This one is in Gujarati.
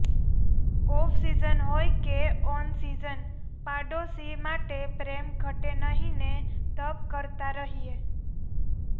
ઓફસીઝન હોય કે ઓનસીઝન પાડોશી માટે પ્રેમ ઘટે નહીં ને તપ કરતા રહીએ